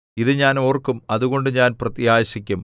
ഇത് ഞാൻ ഓർക്കും അതുകൊണ്ട് ഞാൻ പ്രത്യാശിക്കും